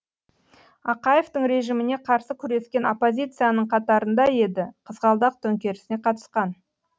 ақаевтың режиміне қарсы күрескен оппозицияның қатарында еді қызғалдақ төңкерісіне қатысқан